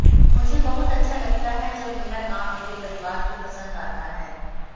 मुझे बहुत अच्छा लगता है जब मेरा काम मेरे परिवार को पसंद आता है